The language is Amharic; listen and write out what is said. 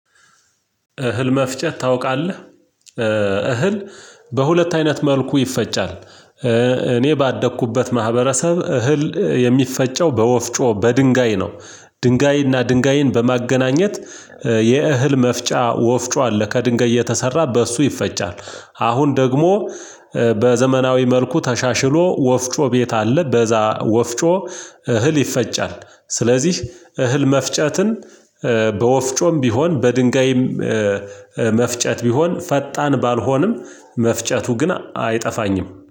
እህል መፍጨት ታውቃለህ። እህል በሁለት አይነት መልኩ ይፈጫል። እኔ ባደኩበት ማህበረሰብ እህል የሚፈጨው በወፍጮ በድንጋይ ነው። ድንጋይና ድንጋይን በማገናኘት የእህል መፍጫ ወፍጮ አለ ከድንጋይ የተሰራ በእሱ ይፈጫል። አሁን ደግሞ በዘመናዊ መልኩ ተሻሽሎ ወፍጮ ቤት አለ በዛ ወፍጮ እህል ይፈጫል። ስለዚህ እህል መፍጨትን በወፍጮም ቢሆን በድንጋይም መፍጨት ቢሆን ፈጣን ባልሆንም መፍጨቱ ግን አይጠፋኝም